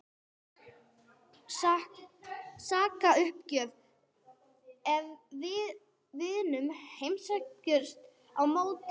Sakaruppgjöf ef við vinnum Heimsmeistaramótið?